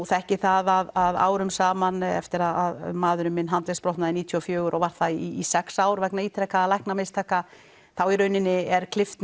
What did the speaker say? þekki það að árum saman eftir að maðurinn minn handleggsbrotnaði níutíu og fjögur og var það í sex ár vegna ítrekaðra læknamistaka þá í raun er klippt